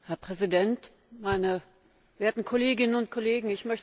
Herr Präsident, meine werten Kolleginnen und Kollegen!